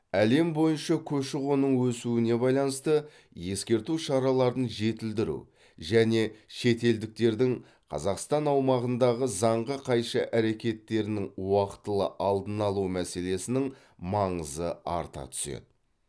әлем бойынша көші қонның өсуіне байланысты ескерту шараларын жетілдіру және шетелдіктердің қазақстан аумағындағы заңға қайшы әрекеттерінің уақтылы алдын алу мәселесінің маңызы арта түседі